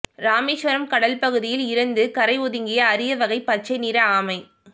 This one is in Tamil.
ராமேசுவரம் கடல் பகுதியில் இறந்து கரை ஒதுங்கிய அரிய வகை பச்சை நிற ஆமை